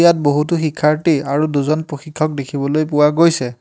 ইয়াত বহুতো শিক্ষাৰ্থী আৰু দুজন প্ৰশিক্ষক দেখিবলৈ পোৱা গৈছে।